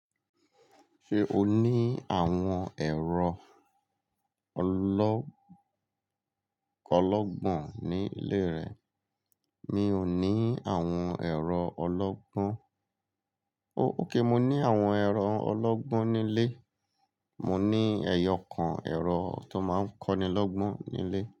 Ṣé o ní àwọn ẹ̀rọ ọlọ́ kọ́lọ́gbọ̀n nílé rẹ? Mi ò ní àwọn ẹ̀rọ ọlọ́gbọ́n. Oh, óké, mo ní àwọn ẹ̀rọ ọlọ́gbọ́n nílé. Mo ní ẹyọkan ẹ̀rọ tó máa ń kọ́nilọ́gbọ́n nílé.